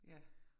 Ja